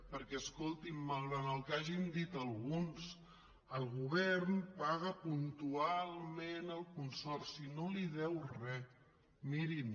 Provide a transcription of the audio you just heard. perquè escolti’m malgrat el que hagin dit alguns el govern paga puntualment al consorci no li deu re mirin